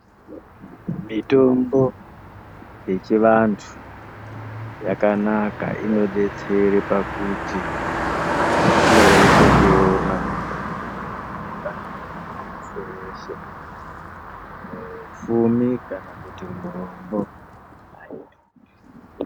Mitombo yechivandu yakanaka inobetsera pakuti inoreruka kuona inooneke nemundi weshe weshe mupfumi kana kuti murombo. Hayidhuri.